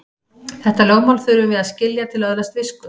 Þetta lögmál þurfum við að skilja til að öðlast visku.